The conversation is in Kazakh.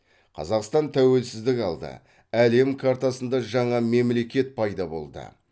қазақстан тәуелсіздік алды әлем картасында жаңа мемлекет пайда болды